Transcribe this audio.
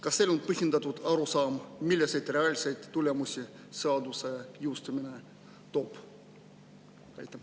Kas teil on põhjendatud arusaam, milliseid reaalseid tulemusi seaduse jõustumine toob?